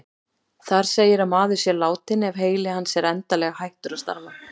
Þar segir að maður sé látinn ef heili hans er endanlega hættur að starfa.